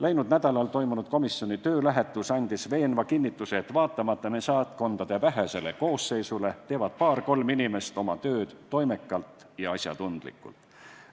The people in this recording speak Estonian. Läinud nädalal toimunud komisjoni töölähetus andis veenva kinnituse, et vaatamata meie saatkondade vähesele koosseisule teevad paar-kolm inimest oma tööd toimekalt ja asjatundlikult.